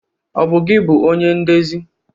Ọ bụ gi bụonye ndezi?